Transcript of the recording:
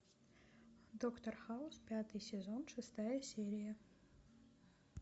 доктор хаус пятый сезон шестая серия